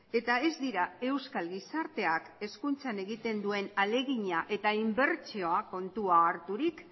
eta ez dira euskal gizarteak hezkuntzan egiten duen ahalegina eta inbertsio kontuan harturik